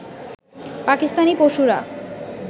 পাকিস্তানি পশুরা